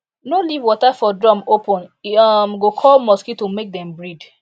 no leave water for drum open e um go call mosquito make dem breed